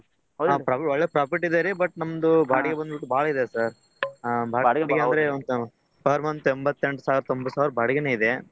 ಹಾ ಪ್ರಾ~ ಒಳ್ಳೆ profit ಇದೆ ರೀ but ನಮ್ದು ಬಾಡಿಗೆ ಬಂದ್ಬಿಟ್ಟು ಬಾಳ ಇದೆ sir ಎಂಬತ್ತೆಂಟು ಸಾವಿರ ತೊಂಬತ್ತು ಸಾವಿರ ಬಾಡಿಗೆನೆ ಇದೆ.